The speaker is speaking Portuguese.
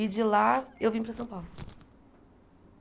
E de lá, eu vim para São Paulo.